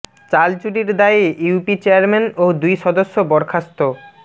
চাল চুরির দায়ে ইউপি চেয়ারম্যান ও দুই সদস্য বরখাস্ত